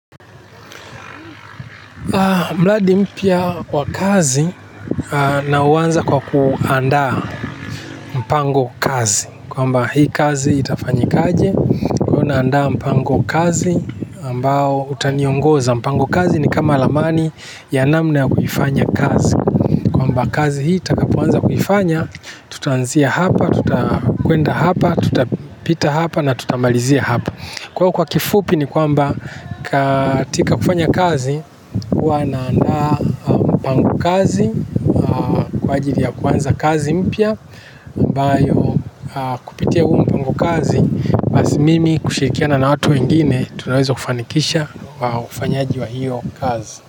Mradi mpya kwa kazi na huwanza kwa ku andaa mpango kazi kwamba hii kazi itafanyikaje kwa hiyo naanda mpango kazi ambao utaniongoza mpango kazi ni kama ramani ya namna ya kufanya kazi kwamba kazi hii nitakapoanza kufanya tutanzia hapa tuta kwenda hapa tuta pita hapa na tuta malizia hapa. Kwa kifupi ni kwamba katika kufanya kazi huwa naanda pangu kazi kwa ajili ya kuanza kazi mpya mbayo kupitia huu mpango kazi basi mimi kushirikiana na watu wengine tunaweza kufanikisha kufanyaji wa hiyo kazi.